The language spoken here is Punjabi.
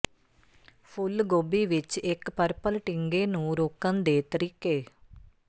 ਫੁੱਲ ਗੋਭੀ ਵਿੱਚ ਇੱਕ ਪਰਪਲ ਟਿੰਗੇ ਨੂੰ ਰੋਕਣ ਦੇ ਤਰੀਕੇ